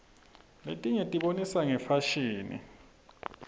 letinye tibonisa ngefasihni